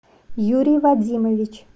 юрий вадимович